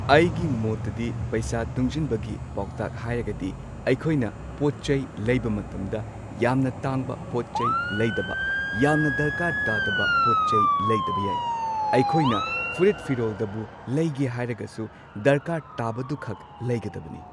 ꯑꯩꯒꯤ ꯃꯣꯠꯇꯗꯤ ꯄꯩꯁꯥ ꯇꯨꯡꯖꯟꯕꯒꯤ ꯄꯥꯎꯇꯥꯛ ꯍꯥꯏꯔꯒꯗꯤ ꯑꯩꯈꯣꯏꯅ ꯄꯣꯠꯆꯩ ꯂꯩꯕ ꯃꯇꯝꯗ ꯌꯥꯝꯅ ꯇꯥꯡꯕ ꯄꯣꯠꯆꯩ ꯂꯩꯗꯕ ꯌꯥꯝꯅ ꯗꯔꯀꯥꯔ ꯇꯥꯗꯕ ꯄꯣꯠꯆꯩ ꯂꯩꯗꯕ ꯌꯥꯏ꯫ ꯑꯩꯈꯣꯏꯅ ꯐꯨꯔꯤꯠ ꯐꯤꯔꯣꯜꯗꯕꯨ ꯂꯩꯒꯦ ꯍꯥꯏꯔꯒꯁꯨ ꯗ꯭ꯔꯀꯥꯔ ꯇꯥꯕꯗꯨꯈꯛ ꯂꯩꯒꯗꯕꯅꯤ꯫